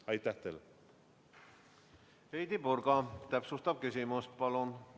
Heidy Purga, täpsustav küsimus, palun!